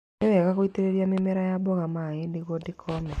Nĩ wega gũitĩrĩria mĩmera ya mboga maaĩ nĩguo ndĩ kome.